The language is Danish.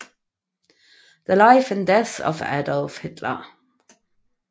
The Life and Death of Adolf Hitler